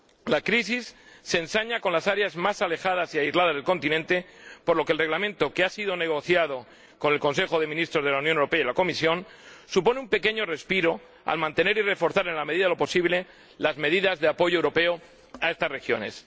La crisis se ensaña con las áreas más alejadas y aisladas del continente, por lo que el Reglamento, que ha sido negociado con el Consejo de Ministros de la Unión Europea y la Comisión, supone un pequeño respiro al mantener y reforzar en la medida de lo posible las medidas de apoyo europeo a estas regiones.